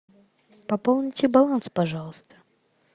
пополните баланс пожалуйста